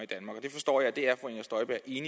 i